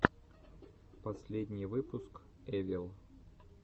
последний выпуск эвил